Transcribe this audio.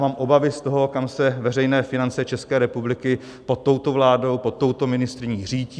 Mám obavy z toho, kam se veřejné finance České republiky pod touto vládou, pod touto ministryní řítí.